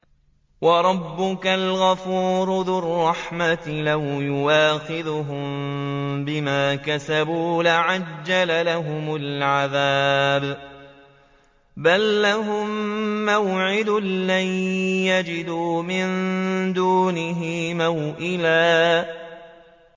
وَرَبُّكَ الْغَفُورُ ذُو الرَّحْمَةِ ۖ لَوْ يُؤَاخِذُهُم بِمَا كَسَبُوا لَعَجَّلَ لَهُمُ الْعَذَابَ ۚ بَل لَّهُم مَّوْعِدٌ لَّن يَجِدُوا مِن دُونِهِ مَوْئِلًا